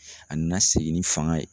A na segin ni fanga ye.